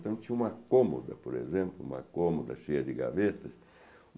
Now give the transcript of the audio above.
Então, tinha uma cômoda, por exemplo, uma cômoda cheia de gavetas.